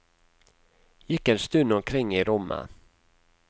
Gikk en stund omkring i rommet.